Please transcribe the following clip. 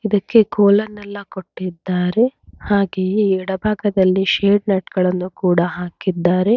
ಇದಕ್ಕೆ ಕೋಲ ಎಲ್ಲ ಕೊಟ್ಟಿದ್ದಾರೆ ಹಾಗೆ ಎಡ ಭಾಗದಲ್ಲಿ ಸೆಡ್ ನಟ್ ಳನ್ನು ಕೂಡ ಹಾಕಿದ್ದಾರೆ.